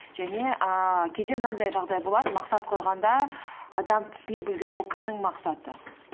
және ііі кейде мынандай жағдай болады мақсат қойғанда адам түсіне білу керек ол кімнің мақсаты